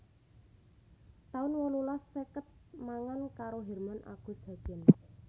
taun wolulas seket mangan karo Herman Agus Hagen